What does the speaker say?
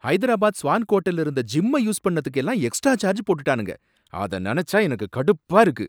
Hyderabad swank ஹோட்டல்ல இருந்த ஜிம்ம யூஸ் பண்ணதுக்கு எல்லாம் எக்ஸ்ட்ரா சார்ஜ் போட்டானுங்க, அத நனைச்சா எனக்குக் கடுப்பா இருக்கு.